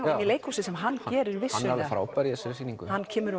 í leikhúsið sem hann gerir vissulega hann er frábær í þessari sýningu hann kemur